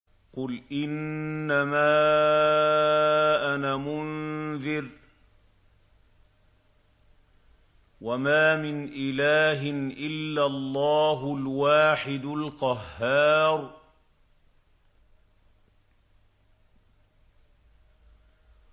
قُلْ إِنَّمَا أَنَا مُنذِرٌ ۖ وَمَا مِنْ إِلَٰهٍ إِلَّا اللَّهُ الْوَاحِدُ الْقَهَّارُ